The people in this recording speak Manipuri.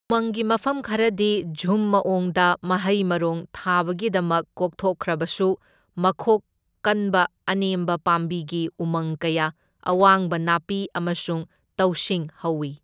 ꯎꯃꯪꯒꯤ ꯃꯐꯝ ꯈꯔꯗꯤ ꯓꯨꯝ ꯃꯋꯣꯡꯗ ꯃꯍꯩ ꯃꯔꯣꯡ ꯊꯥꯕꯒꯤꯗꯃꯛ ꯀꯣꯛꯊꯣꯛꯈ꯭ꯔꯕꯁꯨ, ꯃꯈꯣꯛ ꯀꯟꯕ ꯑꯅꯦꯝꯕ ꯄꯥꯝꯕꯤꯒꯤ ꯎꯃꯪ ꯀꯌꯥ, ꯑꯋꯥꯡꯕꯥ ꯅꯥꯞꯄꯤ ꯑꯃꯁꯨꯡ ꯇꯧꯁꯤꯡ ꯍꯧꯋꯤ꯫